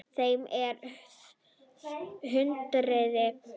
Þeim er hrundið upp.